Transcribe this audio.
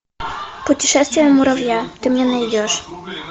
путешествие муравья ты мне найдешь